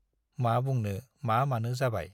मा बुंनो मा मानो जाबाय।